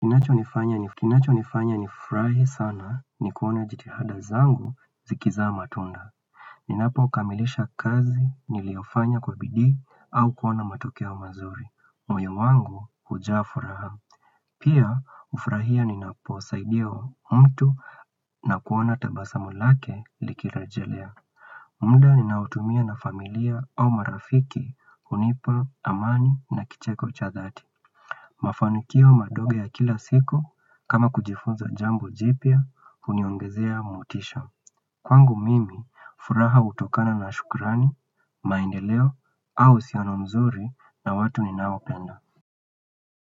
Kinacho nifanya nifrahi sana ni kuona jitihada zangu zikiza matunda. Ninapo kamilisha kazi niliofanya kwa bidii au kuona matokeo mazuri. Moyo mwangu hujaa furaha. Pia ufrahia ninapo saidiwa mtu na kuona tabasamulake likirejelea. Muda ninaotumia na familia au marafiki hunipa amani na kicheko cha dhati. Mafanikio madogo ya kila siku kama kujifunza jambo jipya huniongezea motisha Kwangu mimi furaha hutokana na shukurani, maendeleo au uhusiano mzuri na watu ni nao penda.